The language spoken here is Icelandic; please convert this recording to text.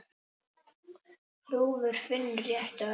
Þrúður finnur réttu orðin.